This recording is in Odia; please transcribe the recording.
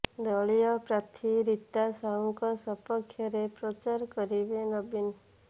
ଦଳୀୟ ପ୍ରାର୍ଥୀ ରୀତା ସାହୁଙ୍କ ସପକ୍ଷରେ ପ୍ରଚାର କରିବେ ନବୀନ